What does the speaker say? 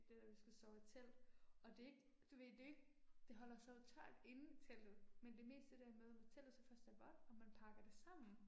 Der hvor vi skulle sove i telt og det er ikke, du ved det jo ikke, det holder sig jo tørt inde i teltet men det er mest det der med, når teltet så først er vådt og man pakker det sammen